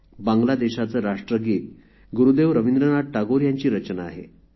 बांगलादेशाचे राष्ट्रगीत ही देखील गुरुदेव रविंद्रनाथ टागोर यांची रचना आहे